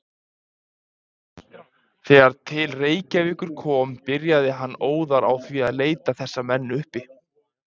Þegar til Reykjavíkur kom, byrjaði hann óðar á því að leita þessa menn uppi.